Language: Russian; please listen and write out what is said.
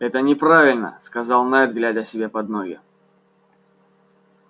это неправильно сказал найд глядя себе под ноги